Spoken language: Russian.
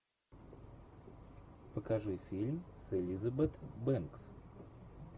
покажи фильм с элизабет бэнкс